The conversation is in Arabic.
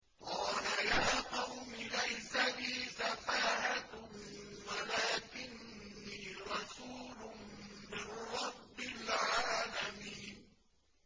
قَالَ يَا قَوْمِ لَيْسَ بِي سَفَاهَةٌ وَلَٰكِنِّي رَسُولٌ مِّن رَّبِّ الْعَالَمِينَ